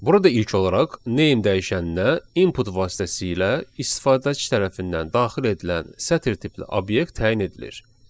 Burada ilk olaraq name dəyişəninə input vasitəsilə istifadəçi tərəfindən daxil edilən sətir tipli obyekt təyin edilir.